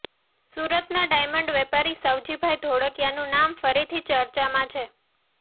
સુરતના ડાયમંડ વેપારી સવજીભાઈ ધોળકીયાનું નામ ફરીથી ચર્ચામાં છે